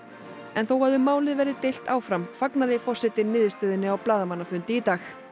en þó að um málið verði deilt áfram fagnaði forsetinn niðurstöðunni á blaðamannafundi í dag